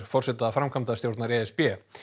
forseta framkvæmdastjórnar e s b